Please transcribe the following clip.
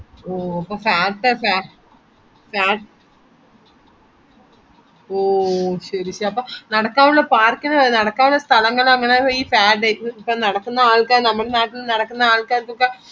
ഓ അപ്പൊ ഓ ശരി ശരി അപ്പൊ നടക്കാനുള്ള park നടക്കാനുള്ള സ്ഥലങ്ങള് നമ്മുടെ നട്ടിൽനടക്കുന്ന ആൾക്കാർക്കൊക്കെ